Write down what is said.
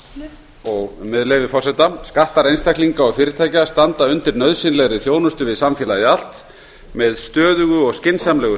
með leyfi forseta skattar einstaklinga og fyrirtækja standa undir nauðsynlegri þjónustu við samfélagið allt með stöðugu og skynsamlegu